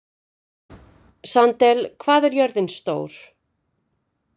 Sandel, hvað er jörðin stór?